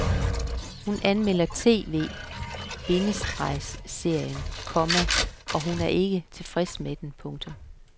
Hun anmelder tv- bindestreg serien, komma og hun er ikke tilfreds med den. punktum